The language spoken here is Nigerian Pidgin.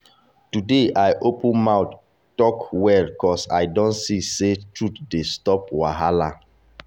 today i open mouth talk well ‘cause i don see say truth dey stop wahala.